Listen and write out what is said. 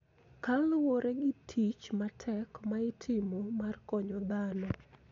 Koluwore gi tich matek ma itimo mar konyo dhano.